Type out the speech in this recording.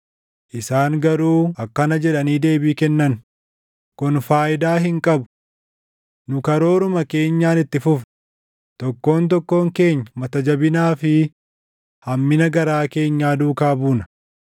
Isaan garuu akkana jedhanii deebii kennan: ‘Kun faayidaa hin qabu. Nu karooruma keenyaan itti fufna; tokkoon tokkoon keenya mata jabinaa fi hammina garaa keenyaa duukaa buuna.’ ”